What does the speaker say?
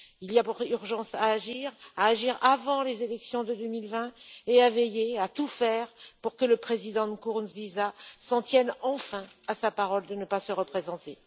Il y a urgence à agir, à agir avant les élections de 2020 et à tout faire pour que le président Nkurunziza s'en tienne enfin à sa parole de ne pas se représenter.